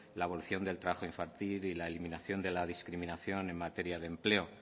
la abolición del trabajo infantil y la eliminación de la discriminación en materia de empleo